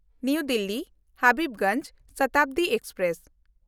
ᱱᱟᱣᱟ ᱫᱤᱞᱞᱤ–ᱦᱟᱵᱤᱵᱜᱚᱧᱡᱽ ᱥᱚᱛᱟᱵᱫᱤ ᱮᱠᱥᱯᱨᱮᱥ